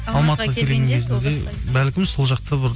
алматыға келген кезінде бәлкім сол жақта бір